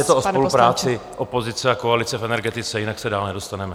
Je to o spolupráci opozice a koalice v energetice, jinak se dál nedostaneme.